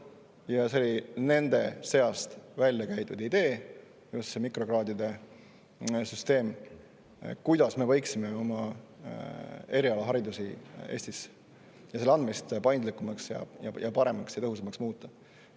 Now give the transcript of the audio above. Just mikrokraadide süsteem oli nende välja käidud idee selle kohta, kuidas me võiksime Eestis erialaharidust ja selle andmist paindlikumaks, paremaks ja tõhusamaks muuta.